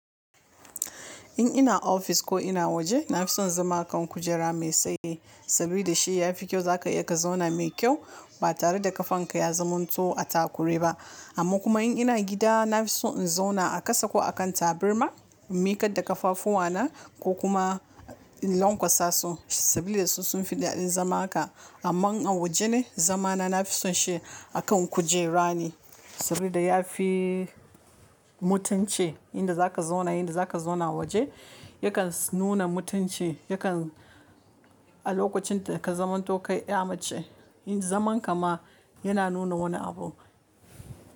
In ina ofis ko ina waje, na fi son zama a kan kujera mai tsaye saboda shi ya fi kyau. Za ka iya ka zauna mai kyau ba tare da ƙafanka ya zamanto a takure ba. Amma kuma in ina gida, na fi son in zauna a kasa ko a kan tabarma, in miƙa da ƙafafuwana ko kuma in lanƙwasa su saboda su sun fi daɗin zama haka. Amma an waje ne, zamana na fi son shi a kan kujera ne saboda ya fi mutunci. Inda za ka zauna, inda za ka zauna waje yakan nuna mutunci yakan a lokacin da ka zamanto kai ɗa mace. Inda zaman ka ma yana nuna wani abu.